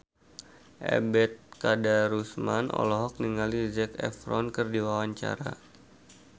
Ebet Kadarusman olohok ningali Zac Efron keur diwawancara